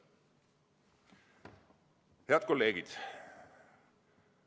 " Head kolleegid!